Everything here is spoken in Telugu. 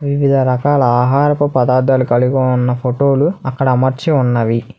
వివిధ రకాల ఆహారపు పదార్థాలు కలిగి ఉన్న ఫోటోలు అక్కడ అమర్చి ఉన్నవి.